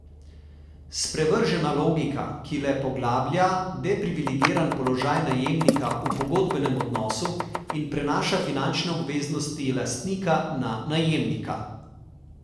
Sprevržena logika, ki le poglablja deprivilegiran položaj najemnika v pogodbenem odnosu in prenaša finančne obveznosti lastnika na najemnika.